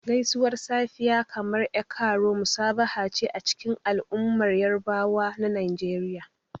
Gaisuwar safiya, kamar "E kaaro," musabaha ce a cikin al'ummar Yarabawa na Najeriya.